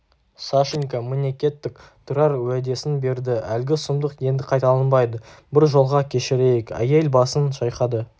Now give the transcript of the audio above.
сашенька міне кеттік тұрар уәдесін берді әлгі сұмдық енді қайталанбайды бір жолға кешірейік әйел басын шайқады